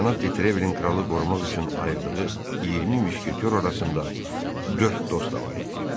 Cənab Detrevelin kralı qorumaq üçün ayırdığı 20 müşketyor arasında dörd dost da var idi.